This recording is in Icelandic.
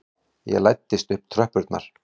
Ég læddist upp tröppurnar.